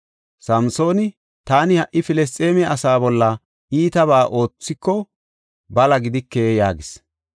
Samsooni, “Taani ha77i Filisxeeme asaa bolla iitabaa oothiko bala gidike” yaagis.